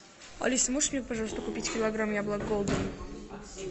алиса можешь мне пожалуйста купить килограмм яблок голден